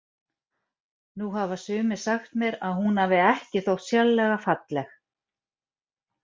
Nú hafa sumir sagt mér að hún hafi ekki þótt sérlega falleg.